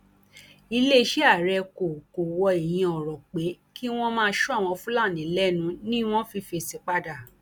iléeṣẹ ààrẹ kò kò wọ ìyẹn ọrọ pé kí wọn má sọ àwọn fúlàní lẹnu ni wọn fi fèsì padà